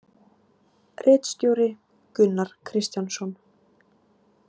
Ritstjóri Gunnar Kristjánsson.